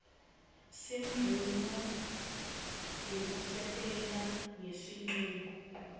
semvumo yekusebenta ngesincumo